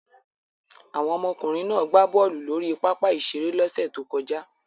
Àwọn ọmọkùnrin náà gbá bọ́ọ́lù lórí pápá-ìṣeré lọ́sẹ̀ tó kọjá.